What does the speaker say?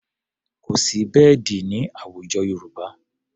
Kò sí bẹ́ẹ̀dì ní àwùjọ Yorùbá.